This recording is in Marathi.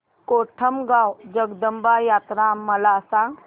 कोटमगाव जगदंबा यात्रा मला सांग